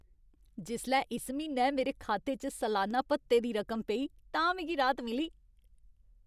जिसलै इस म्हीनै मेरे खाते च सलान्ना भत्ते दी रकम पेई तां मिगी राहत मिली।